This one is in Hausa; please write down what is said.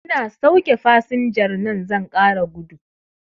Ina sauke fasinjar nan zan ƙara gudu